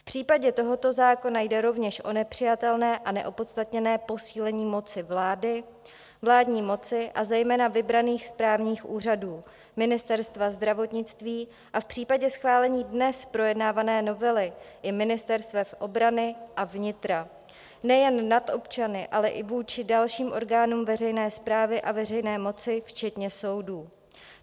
V případě tohoto zákona jde rovněž o nepřijatelné a neopodstatněné posílení moci vlády, vládní moci a zejména vybraných správních úřadů, ministerstva zdravotnictví a v případě schválení dnes projednávané novely i ministerstev obrany a vnitra nejen nad občany, ale i vůči dalším orgánům veřejné správy a veřejné moci včetně soudů.